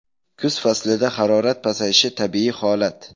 Kuz faslida harorat pasayishi tabiiy holat.